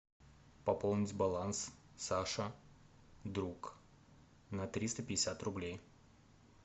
пополнить баланс саша друг на триста пятьдесят рублей